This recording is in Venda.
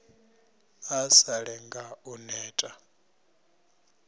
a sa lenge u neta